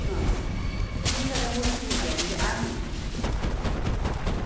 अ त या सगळ्या गोष्टी होत्या मनजे आहे